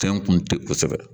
Fɛn kun te kosɛbɛ